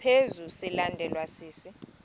ngaphezu silandelwa sisi